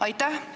Aitäh!